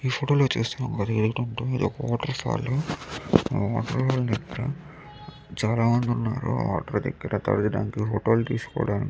ఈ ఫోటో లో చూస్తున్నది ఏంటంటే ఒక వాటర్ఫాల్ వాటర్ చాలా అందంగా ఉందో చాలా జనాలు ఉన్నారు అక్కడ ఫోటో లు తీసుకోవడానికి.